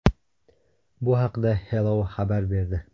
Bu haqida Hello xabar berdi .